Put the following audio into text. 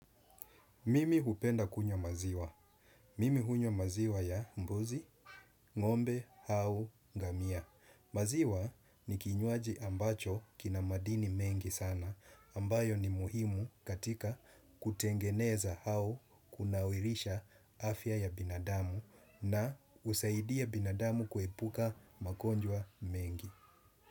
Mimi hupenda kunywa maziwa. Mimi hunywa maziwa ya mbuzi ngombe au ngamia. Maziwa ni kinywaji ambacho kina madini mengi sana ambayo ni muhimu katika kutengeneza au kunawilisha afya ya binadamu na husaidia binadamu kuepuka magonjwa mengi.